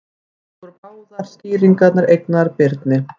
Lengi voru báðar skýringarnar eignaðar Birni.